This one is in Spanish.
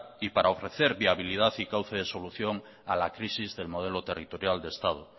y para ofrecer viabilidad y cauce de solución a la crisis del modelo territorial de estado